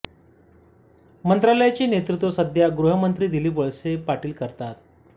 मंत्रालयाचे नेतृत्व सध्या गृह मंत्री दिलीप वळसेपाटील करतात